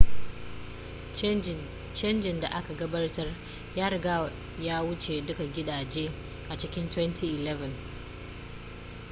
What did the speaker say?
canjin da aka gabatar ya riga ya wuce duka gidaje a cikin 2011